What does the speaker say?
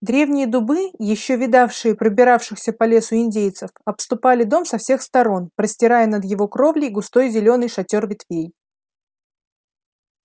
древние дубы ещё видавшие пробиравшихся по лесу индейцев обступали дом со всех сторон простирая над его кровлей густой зелёный шатёр ветвей